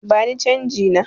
Bani canji na!